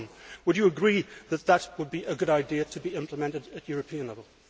Would you agree that it would be a good idea for that to be implemented at European level?